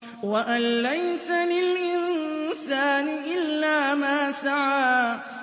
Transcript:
وَأَن لَّيْسَ لِلْإِنسَانِ إِلَّا مَا سَعَىٰ